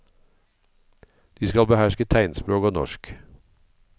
De skal beherske tegnspråk og norsk.